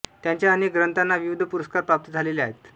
त्यांच्या अनेक ग्रंथांना विविध पुरस्कार प्राप्त झालेले आहेत